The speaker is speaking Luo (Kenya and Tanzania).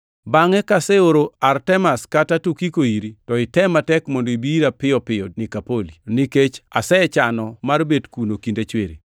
Bangʼe kaseoro Artemas kata Tukiko iri, to item matek mondo ibi ira piyo Nikopoli, nikech asechano mar bet kuno kinde chwiri.